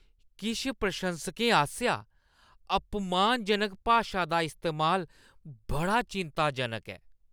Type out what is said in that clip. किश प्रशंसकें आसेआ अपमानजनक भाशा दा इस्तेमाल बड़ा चिंताजनक ऐ।